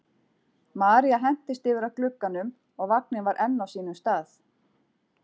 María hentist yfir að glugganum og vagninn var enn á sínum stað.